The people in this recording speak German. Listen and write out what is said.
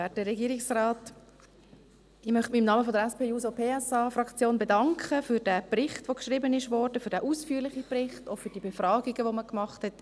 Ich möchte mich im Namen der SP-JUSO-PSA-Fraktion bedanken für den ausführlichen Bericht, der geschrieben wurde, auch für die Befragungen, die man gemacht hat.